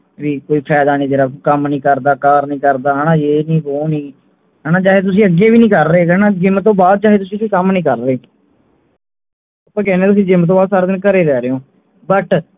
ਵੀ ਕੋਈ ਫਾਇਦਾ ਨੀ ਤੇਰਾ ਕੋਈ ਕੰਮ ਨਹੀਂ ਕਰਦਾ ਕਾਰ ਨਹੀਂ ਕਰਦਾ ਯੇ ਨੀ ਵੋ ਨੀ ਹਣਾ ਚਾਹੇ ਤੁਸੀਂ ਅੱਗੇ ਵੀ ਨਹੀਂ ਕਰ ਰਹੇ ਹੈਗੇ ਹਣਾ gym ਤੋਂ ਬਾਅਦ ਚਾਹੇ ਤੁਸੀਂ ਕੋਈ ਕੰਮ ਨਹੀਂ ਕਰ ਰਹੇ ਤੁਸੀਂ gym ਤੋਂ ਬਾਅਦ ਸਾਰਾ ਦਿਨ ਘਰੇ ਰਹਿ ਰਹੇ ਹੋਂ but